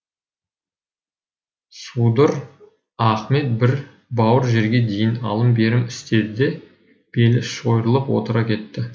судыр ахмет бір бауыр жерге дейін алым берім істеді де белі шойырылып отыра кетті